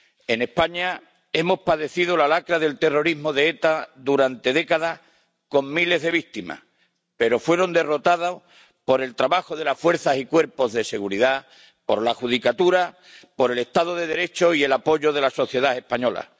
En España hemos padecido la lacra del terrorismo de ETA durante décadas, con miles de víctimas, pero fue derrotado por el trabajo de las fuerzas y cuerpos de seguridad, por la judicatura, por el Estado de Derecho y por el apoyo de la sociedad española.